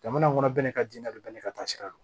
Jamana kɔnɔ bɛɛ ni ka jinɛ don bɛɛ n'i ka taa sira don